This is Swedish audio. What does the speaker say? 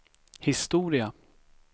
historia